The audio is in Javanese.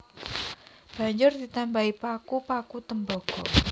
Banjur ditambahi paku paku tembaga